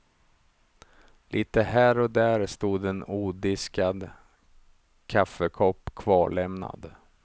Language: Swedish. Lite här och där stod en odiskad kaffekopp kvarlämnad.